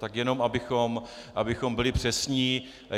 Tak jen abychom byli přesní.